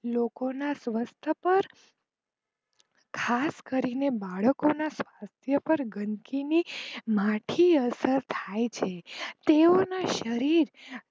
લોકો ના સવસ્થ પાર ખાસ કરીને બાળકો ના આરોગ્ય પર ગંદકી ની માઠી અસર થાય છે તેઓના શરીર